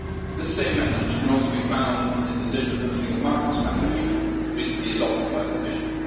This same message can also be found in the Digital Single Market Strategy recently adopted by the Commission.